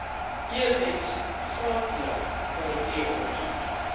ex gratia komiteeondersoek